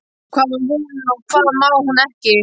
Hvað má hún og hvað má hún ekki?